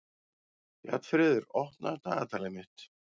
Bjarnfreður, opnaðu dagatalið mitt.